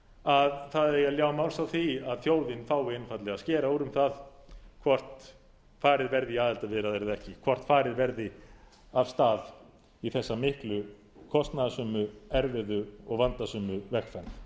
að það eigi að ljá máls á því að þjóðin fái einfaldlega að skera úr um það hvort farið verði í aðildarviðræður eða ekki hvort farið verði af stað í þessa miklu kostnaðarsömu erfiðu og vandasömu vegferð